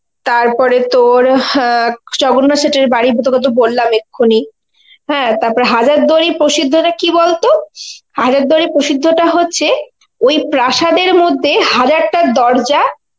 তারপরে তর হ্যাঁ জগন্নাথ সেঠ এর বাড়ি তোকে তো বললাম এক্ষুনি. হ্যাঁ তারপরে হাজার দুয়ারির প্রসিদ্ধটা কি বলতো, হাজারদুয়ারির প্রসিদ্ধ টা হচ্ছে, ওই প্রাশাধ এর মধ্যে হাজারটা দরজা